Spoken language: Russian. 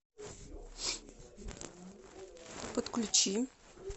подключи